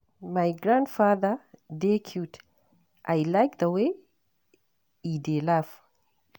My grandfather dey cute, I like the way e dey laugh